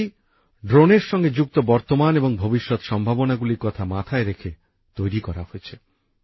এই নীতি ড্রোনের সঙ্গে যুক্ত বর্তমান এবং ভবিষ্যৎ সম্ভাবনাগুলির কথা মাথায় রেখে তৈরি করা হয়েছে